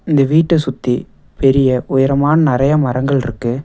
இந்த வீட்ட சுத்தி பெரிய உயரமான நெறைய மரங்கள் இருக்கு.